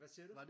Hvad siger du?